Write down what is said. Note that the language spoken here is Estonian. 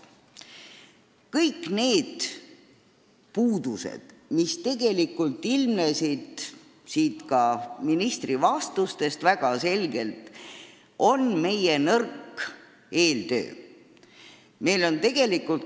Kõik need puudused, mis ilmnesid väga selgelt ka ministri vastustest, on meie nõrga eeltöö tulemus.